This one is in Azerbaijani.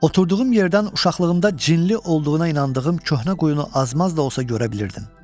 Oturduğum yerdən uşaqlığımda cinli olduğuna inandığım köhnə quyunu azmaz da olsa görə bilirdim.